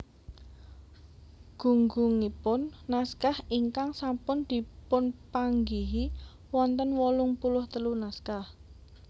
Gunggungipun naskah ingkang sampun dipunpanggihi wonten wolung puluh telu naskah